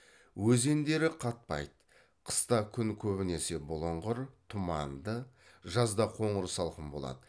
өзендері қатпайды қыста күн көбінесе бұлыңғыр тұманды жазда қоныр салқын болады